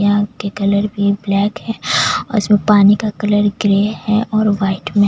यहाँ की colour black है और उसमे पानी का कलर ग्रे और वाइट मे--